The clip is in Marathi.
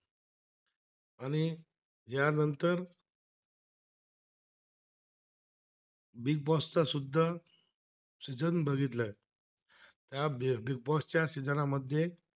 big boss चा शुद्ध, सीजन बघितलंय च्या big boss च्या सीजनमध्ये